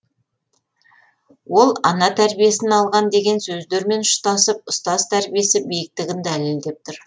ол ана тәрбиесін алған деген сөздермен ұштасып ұстаз тәрбиесі биіктігін дәлелдеп тұр